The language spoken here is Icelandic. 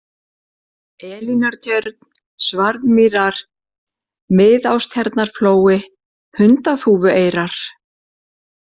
Elínartjörn, Svarðmýrar, Miðástjarnarflói, Hundaþúfueyrar